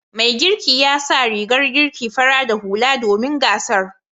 Mai girkin ya sa rigar girki fara da hula domin gasar.